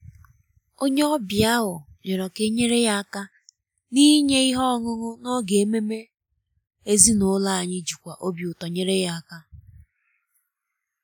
onye ọbịa ahụ um rịọrọ ka e nyere ya aka n’inye ihe ọṅụṅụ n’oge ememe ezinụlọ anyị jikwa obi ụtọ nyere aka